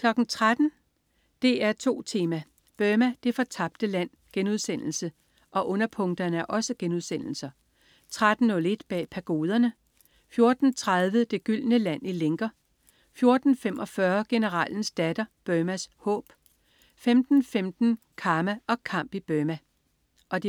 13.00 DR2 Tema: Burma, det fortabte land* 13.01 Bag Pagoderne* 14.30 Det gyldne land i lænker* 14.45 Generalens datter, Burmas håb* 15.15 Karma og kamp i Burma* 15.30